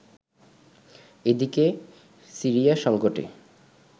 এদিকে, সিরিয়া সংকটে